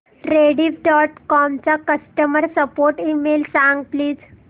Rediff dot com चा customer support email सांग please